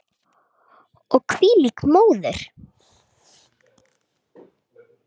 Og hvílík móðir!